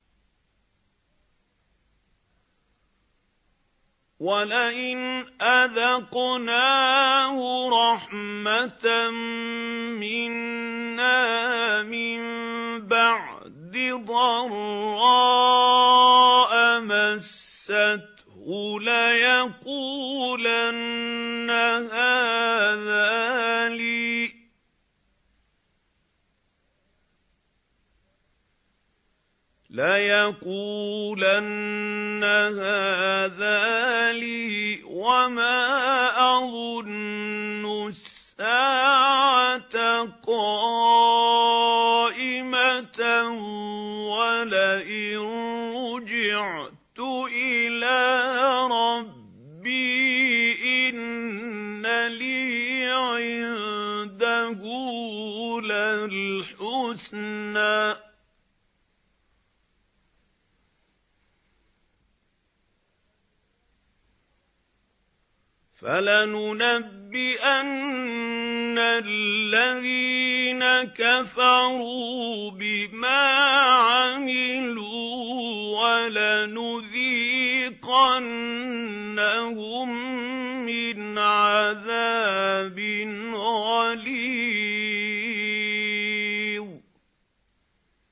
وَلَئِنْ أَذَقْنَاهُ رَحْمَةً مِّنَّا مِن بَعْدِ ضَرَّاءَ مَسَّتْهُ لَيَقُولَنَّ هَٰذَا لِي وَمَا أَظُنُّ السَّاعَةَ قَائِمَةً وَلَئِن رُّجِعْتُ إِلَىٰ رَبِّي إِنَّ لِي عِندَهُ لَلْحُسْنَىٰ ۚ فَلَنُنَبِّئَنَّ الَّذِينَ كَفَرُوا بِمَا عَمِلُوا وَلَنُذِيقَنَّهُم مِّنْ عَذَابٍ غَلِيظٍ